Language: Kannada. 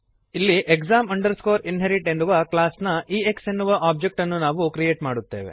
ಇಲ್ಲಿ exam inherit ಎನ್ನುವ ಕ್ಲಾಸ್ನ ಎಕ್ಸ್ ಎನ್ನುವ ಒಬ್ಜೆಕ್ಟ್ ಅನ್ನು ನಾವು ಕ್ರಿಯೇಟ್ ಮಾಡುತ್ತೇವೆ